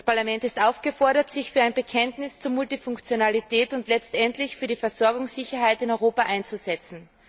Das Parlament ist aufgefordert, sich für ein Bekenntnis zur Multifunktionalität und letztendlich für die Versorgungssicherheit in Europa einzusetzen.